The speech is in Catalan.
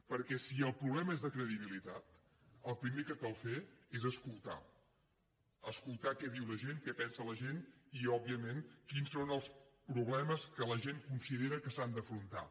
perquè si el problema és de credibilitat el primer que cal fer és escoltar escoltar què diu la gent què pensa la gent i òbviament quins són els problemes que la gent considera que s’han d’afrontar